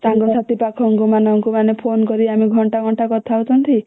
ସାଙ୍ଗ ସାଥି ପାଖଙ୍କ ମାନଙ୍କୁ ମାନେ phone କରିକି ଆମେ ଘଣ୍ଟା ଘଣ୍ଟା କଥା ହଉଛନ୍ତି